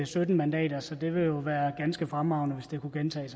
sytten mandater så det ville jo være ganske fremragende hvis det kunne gentage